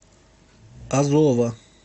азова